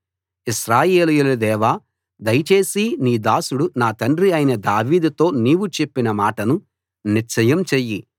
ఇశ్రాయేలీయుల దేవా దయచేసి నీ దాసుడు నా తండ్రి అయిన దావీదుతో నీవు చెప్పిన మాటను నిశ్చయం చెయ్యి